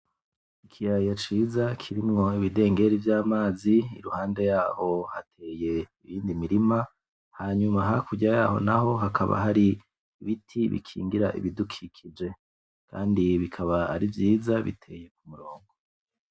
Ikiyaya ciza kirimwo ibidengeri vy'amazi iruhande yaho hateye iyindi mirima hanyuma hakurya yaho naho hakaba hari ibiti bikingira ibidukikije kandi bikaba ari vyiza biteye k'umurongo